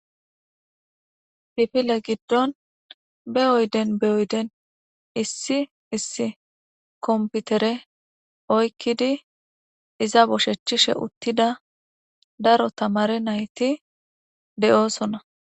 bifile giddon be oyden be oyden issi issi komputere oykkidi iza boshechchishe uttida daro tamari nayti de7oosona